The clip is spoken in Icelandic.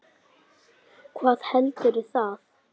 Hvað heldur það?